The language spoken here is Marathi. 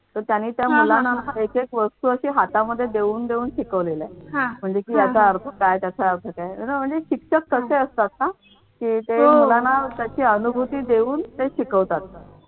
तर त्यांनी त्या मुलांना एक एक वस्तू अशी हातामध्ये देऊन देऊन शिकवलेल आहे म्हणजे कि याचा अर्थ काय त्याचा अर्थ काय you know म्हणजे शिक्षक कसे असतात ना की ते मुलांना तशी अनुभूती देऊन हे शिकवतात.